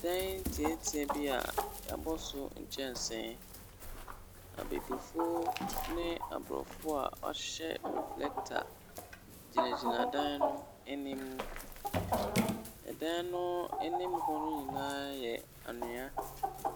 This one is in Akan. Dan tiatia bi a yɛabɔ nkyɛnse, abibifo ne aborɔfo a wɔahyɛ reflector gyinagyina no anim. Dan no anim hɔ nyina yɛ anwea.